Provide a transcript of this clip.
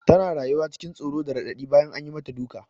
Tana rayuwa cikin tsoro da raɗaɗi bayan an yi mata duka.